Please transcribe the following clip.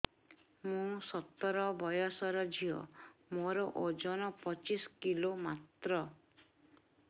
ମୁଁ ସତର ବୟସର ଝିଅ ମୋର ଓଜନ ପଚିଶି କିଲୋ ମାତ୍ର